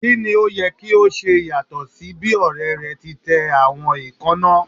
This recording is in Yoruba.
Kini o yẹ ki o ṣe yatọ si bi ọrẹ rẹ ti tẹ awọn eekanna?